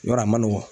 Yɔrɔ a man nɔgɔn